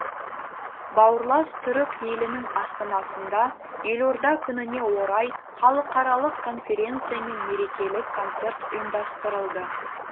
бауырлас түрік елінің астанасында елорда күніне орай халықаралық конференция мен мерекелік концерт ұйымдастырылды